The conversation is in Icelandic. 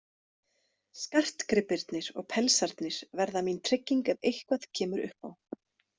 Skartgripirnir og pelsarnir verða mín trygging ef eitthvað kemur upp á.